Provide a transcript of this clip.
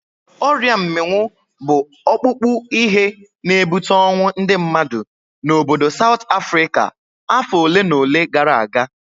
Ọrịa mminwu bụ ọkpụkpụ ihe na-ebute ọnwụ ndị mmadụ n'obodo Saut Afrịka afọ olenaole gara aga.